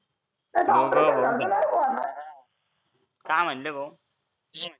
काय म्हणता भो